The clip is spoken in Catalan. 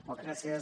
moltes gràcies